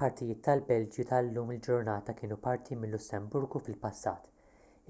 partijiet tal-belġju tal-lum il-ġurnata kienu parti mil-lussemburgu fil-passat